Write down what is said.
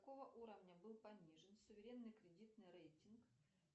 какого уровня был понижен суверенный кредитный рейтинг